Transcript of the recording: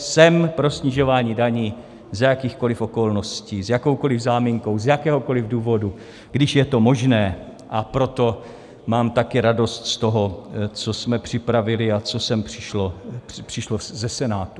Jsem pro snižování daní za jakýchkoliv okolností, s jakoukoliv záminkou, z jakéhokoliv důvodu, když je to možné, a proto mám také radost z toho, co jsme připravili a co sem přišlo ze Senátu.